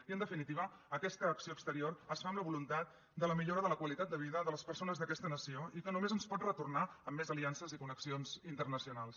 i en definitiva aquesta acció exterior es fa amb la voluntat de la millora de la qualitat de vida de les persones d’aquesta nació i que només ens pot retornar amb més aliances i connexions internacionals